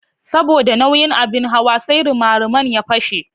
Saboda nauyin abin hawa sai rimariman ya fashe.